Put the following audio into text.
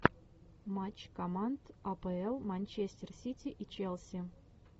матч команд апл манчестер сити и челси